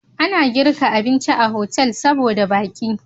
Ana girka abinci a hotel saboda baki